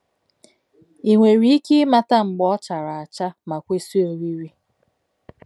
I nwere ike ịmata mgbe ọ chara acha, ma kwesị oriri?